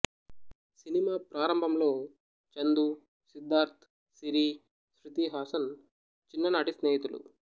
cinema ప్రారంభంలో చందూ సిద్ధార్థ్ సిరీ శృతి హాసన్ చిన్న నాటి స్నేహితులు